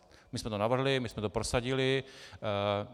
My jsme to navrhli, my jsme to prosadili.